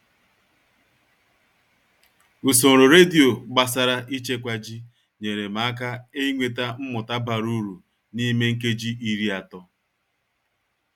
Usoro redio gbasara ịchekwa ji nyere m aka inweta mmụta bara uru n'ime nkeji iri atọ